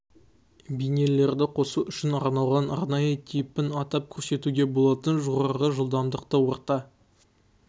бейнелерді қосу үшін арналған арнайы типін атап көрсетуге болады жоғары жылдамдықты орта